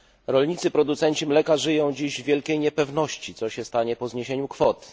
Rolnicy producenci mleka żyją dziś w wielkiej niepewności, co się stanie po zniesieniu kwot?